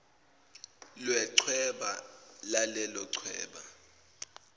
lechweba lalelo chweba